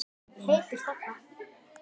Heitur þarna.